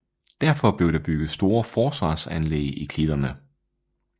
Derfor blev der bygget store forsvarsanlæg i klitterne